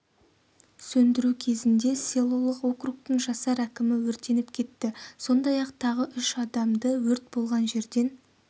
сөндіру кезінде селолық округтің жасар әкімі өртеніп кетті сондай-ақ тағы үш адамды өрт болған жерден